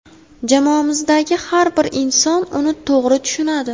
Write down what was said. Jamoamizdagi har bir inson uni to‘g‘ri tushunadi.